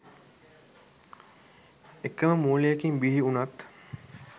එකම මූලයකින් බිහි වුනත්